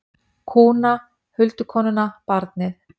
Kúna, huldukonuna, barnið.